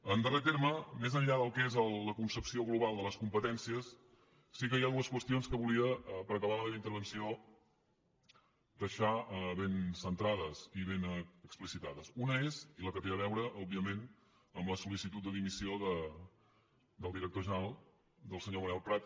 en darrer terme més enllà del que és la concepció global de les competències sí que hi ha dues qüestions que volia per acabar la meva intervenció deixar ben centrades i ben explicitades una és la que té a veure òbviament amb la sol·licitud de dimissió del director general del senyor manel prat